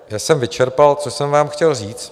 Tím jsem vyčerpal, co jsem vám chtěl říct.